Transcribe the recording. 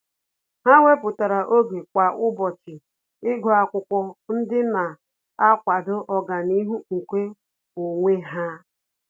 Há wépụ́tara oge kwa ụ́bọ̀chị̀ ígụ́ ákwụ́kwọ́ ndị nà-àkwàdò ọ́gànihu nke onwe ha.